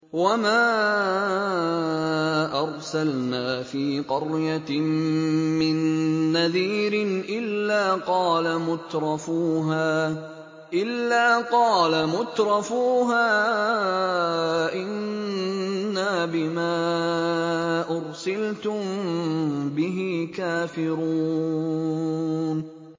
وَمَا أَرْسَلْنَا فِي قَرْيَةٍ مِّن نَّذِيرٍ إِلَّا قَالَ مُتْرَفُوهَا إِنَّا بِمَا أُرْسِلْتُم بِهِ كَافِرُونَ